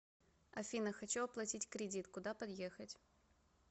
афина хочу оплатить кредит куда подъехать